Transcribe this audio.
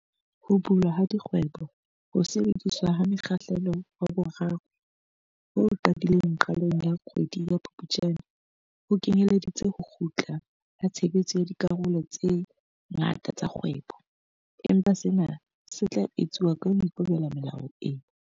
Ho bulwa ha dikgweboHo sebediswa ha mokgahlelo wa 3 ho qadileng qalong ya kgwedi ya Phuptjane, ho kenyeleditse ho kgutla ha tshebetso ya dikarolo tse ngata tsa kgwebo, empa sena se tla etsuwa ka ho ikobela melao e